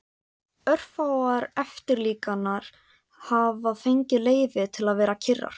En örfáar eftirlíkingar hafa fengið leyfi til að vera kyrrar.